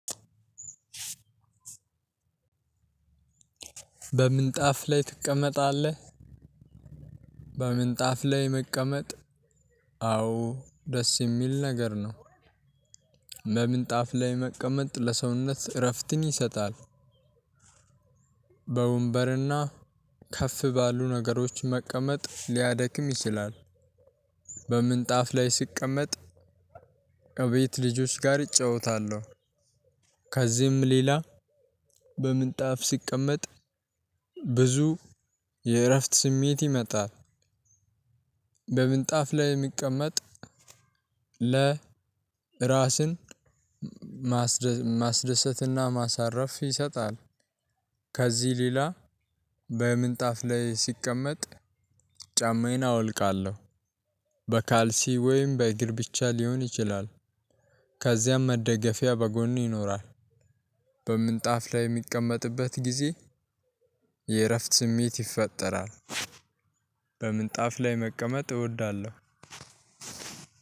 በምንጣፍ ላይ ትቀመጣለህ? በምንጣፍ ላይ መቀመጥ አዎ ደስ የሚል ነገር ነው። በምንጣፍ ላይ መቀመጥ ለሰውነት እረፍትን ይሰጣል። በወንበርና ከፍ ባሉ ነገሮች መቀመጥ ሊያደክም ይችላል። በምንጣፍ ላይ ስቀመጥ እቤት ልጆች ጋር እጫወታለሁ። ከዚህም ሌላ በምንጣፍ ሲቀመጥ ብዙ የእረፍት ስሜት ይመጣል። በምንጣፍ ላይ የሚቀመጥ ለ ራስን ማስደሰትና ማሳረፍ ይሰጣል። ከዚህ ሌላ በምንጣፍ ላይ ሲቀመጥ ጫማዬን አወልቃለሁ በካልሲ ወይም በእግር ብቻ ሊሆን ይችላል። ከዚያም መደገፊያ በጎን ይኖራል። በምንጣፍ ላይ እሚቀመጥበት ጊዜ የእረፍት ስሜት ይፈጠራል። በምንጣፍ ላይ መቀመጥ እወዳለሁ።